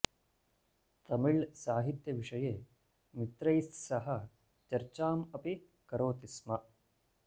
तमिळ् साहित्य विषये मित्रैः सह चर्चाम् अपि करोति स्म